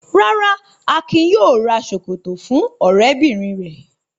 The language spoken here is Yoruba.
Rárá, Akin yóò ra ṣòkòtò fún ọ̀rẹ́bìnrin rẹ̀.